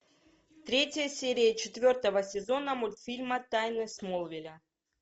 третья серия четвертого сезона мультфильма тайны смолвиля